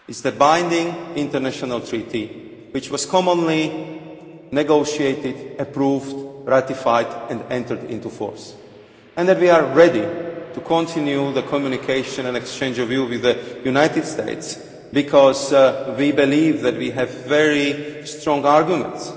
It is a binding international treaty which was jointly negotiated, approved and ratified and has entered into force, and we are ready to continue our communication and exchange of views with the United States because we believe we have very strong arguments.